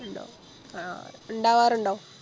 ഇണ്ടോ ആ ഇണ്ടാവാറുണ്ടോ